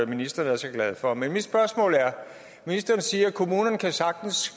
ministeren er så glad for men mit spørgsmål er ministeren siger at kommunerne sagtens